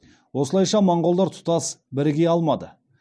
осылайша моғолдар тұтас біріге алмады